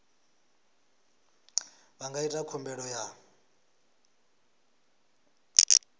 vha nga ita khumbelo ya